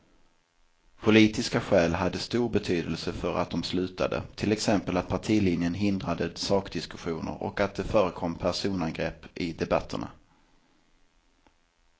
Politiska skäl hade stor betydelse för att de slutade, till exempel att partilinjen hindrade sakdiskussioner och att det förekom personangrepp i debatterna.